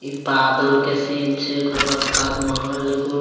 इ बादल के सीन छै एकर बाद ताज महल जे गोल --